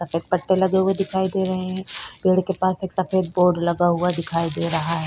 सफेद पत्ते लगे हुए दिखाई दे रहे हैं पेड़ के पास एक सफेद बोर्ड लगा हुआ दिखाई दे रहा हैं।